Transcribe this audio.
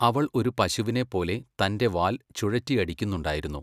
അവൾ ഒരു പശുവിനെപ്പോലെ തൻ്റെ വാൽ ചുഴറ്റിയടിക്കുന്നുണ്ടായിരുന്നു.